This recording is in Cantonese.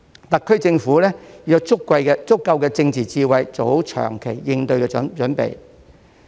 特區政府要有足夠的政治智慧，做好長期應對的準備。